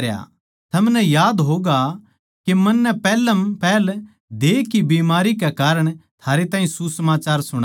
थमनै याद होगा के मन्नै पैहलम पहल देह की बीमारी कै कारण थारै ताहीं सुसमाचार सुणाया